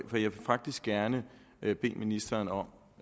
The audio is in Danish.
vil faktisk gerne bede ministeren om